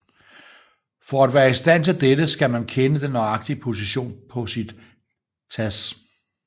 For at være i stand til dette skal man kende den nøjagtige position på sit TASS